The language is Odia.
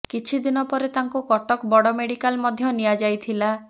କିଛିଦିନ ପରେ ତାଙ୍କୁ କଟକ ବଡ ମେଡିକାଲ ମଧ୍ୟ ନିଆଯାଇଥିଲା